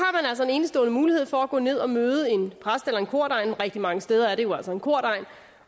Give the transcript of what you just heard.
enestående mulighed for at gå ned og møde en præst eller en kordegn rigtig mange steder er det jo altså en kordegn